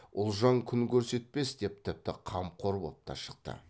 ұлжан күн көрсетпес деп тіпті қамқор боп та шықты